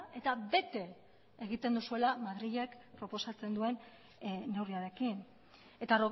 eta bete egiten duzuela madrilek proposatzen duen neurriarekin eta